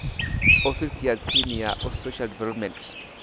ofisini ya tsini ya social development